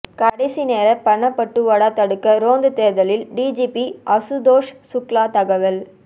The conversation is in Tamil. கடைசி நேர பணப்பட்டுவாடா தடுக்க ரோந்து தேர்தல் டிஜிபி அசுதோஷ் சுக்லா தகவல்